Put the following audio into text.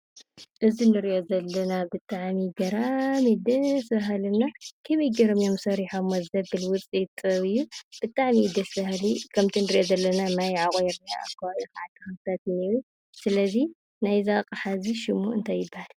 እዚ እንሪኦ ዘለና ብጣዕሚ ገራሚን ደስ ባሃሊን እና ከመይ ገይሮም እዮም ሰሪሖሞ ዘብል ውፅኢት ኢደ-ጥበብ እዩ። ብጣዕሚ ደስ ባሃሊ ከምቲ እንሪኦ ዘለና ማይ ኣዕቒሩ ኣብ ከባቢኡ ድማ ተክሊታት ኣለው። ስለዚ ናይዚ ኣቕሓ እዙይ ሽሙ እንታይ ይባሃል?